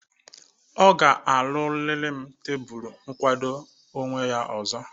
Ọ ga-arụrịrị m tebụlu nkwado onwe ọzọ.